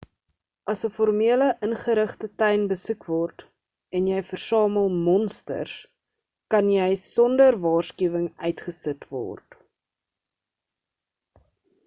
as 'n formele ingerigte tuin besoek word en jy versamel monsters kan jy sonder waarskuwing uitgesit word